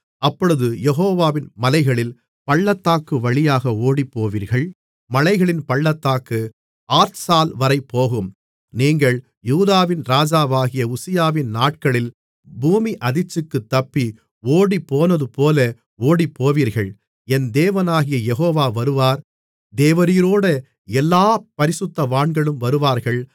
அப்பொழுது யெகோவாவின் மலைகளின் பள்ளத்தாக்கு வழியாக ஓடிப்போவீர்கள் மலைகளின் பள்ளத்தாக்கு ஆத்சால்வரை போகும் நீங்கள் யூதாவின் ராஜாவாகிய உசியாவின் நாட்களில் பூமியதிர்ச்சிக்குத் தப்பி ஓடிப்போனதுபோல ஓடிப்போவீர்கள் என் தேவனாகிய யெகோவா வருவார் தேவரீரோடே எல்லாப் பரிசுத்தவான்களும் வருவார்கள்